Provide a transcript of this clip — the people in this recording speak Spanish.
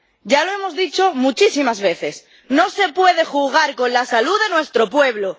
Ya lo hemos dicho muchísimas veces ¡no se puede jugar con la salud de nuestro pueblo!